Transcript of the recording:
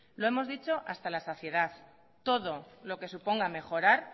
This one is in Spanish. lo hemos dicho hasta en la saciedad todo lo que suponga mejorar